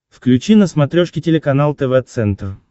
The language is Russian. включи на смотрешке телеканал тв центр